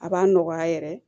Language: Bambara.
A b'a nɔgɔya yɛrɛ